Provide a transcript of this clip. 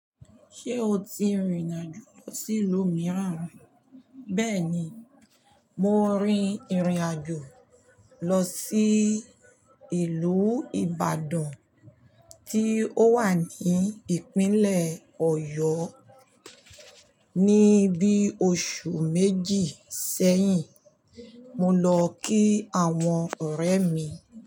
Ṣé o ti rìnrìn àjò lọ sí ìlú mìíràn ri? Bẹ́ẹ̀ni, mo rin ìrìn àjò lọ sí ìlú Ìbàdàn tí ó wà ní ìpínlẹ̀ Ọ̀yọ́ ní bí i oṣù méjì sẹ́yìn. Mo lọ kí àwọn ọ̀rẹ́ mi.